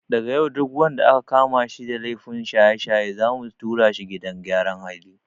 Daga yau duk wanda aka kama da laifin shaye-shaye zamu tura shi gidan gyaran hali.